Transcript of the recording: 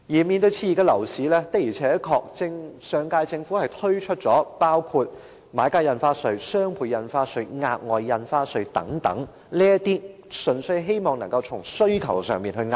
面對熾熱的樓市，上屆政府確實曾經推出買家印花稅、雙倍印花稅、額外印花稅等措施，希望單從遏抑需求上着手。